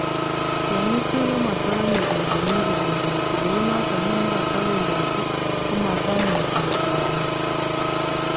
"Tyongik tukul komatamkokanye biik komii kobeendoti , kou noton nikatawendati kamatamuchi kochamwan"